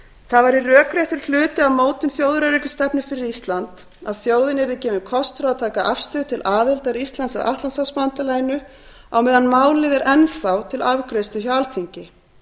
það væri rökréttur hluti af mótun þjóðaröryggisstefnu fyrir ísland að þjóðinni yrði gefinn kostur á að taka afstöðu til aðildar íslands að atlantshafsbandalaginu á meðan málið er enn þá til afgreiðslu hjá alþingi